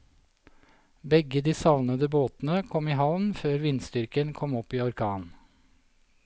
Begge de savnede båtene kom i havn før vindstyrken kom opp i orkan.